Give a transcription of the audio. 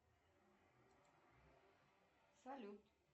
салют